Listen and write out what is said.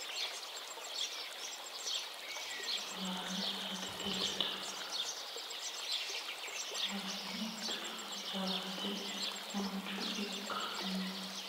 kolishu gawurichira saate kiritanni afanitanno tinni saatenno tonnalamete onitu sa'inno yitanno afantanno manchu beeti loosanore baala saatete leddo loosiha ikiro jawaata mancho ikanno.